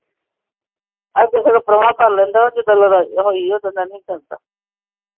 ਅੱਗੇ ਸਗੋਂ ਪ੍ਰਾਹੁਣਾ ਕਰ ਲੈਂਦਾ ਜਦੋ ਲੜਾਈ ਹੋਈ ਓਦੋ ਦਾ ਨਹੀਂ ਕਰਦਾ।